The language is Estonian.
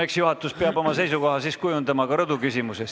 Eks juhatus peab oma seisukoha ka rõdu suhtes kujundama.